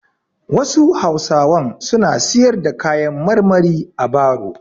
Wasu hausawan suna siyar da kayan marmari a baro.